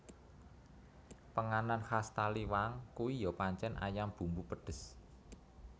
Penganan khas Taliwang kui yo pancen ayam bumbu pedes